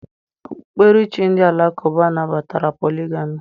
Okpukperechi ndị Alakụba nabatara poligami